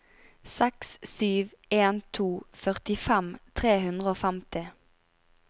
seks sju en to førtifem tre hundre og femti